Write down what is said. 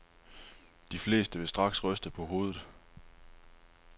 De fleste vil straks ryste på hovedet.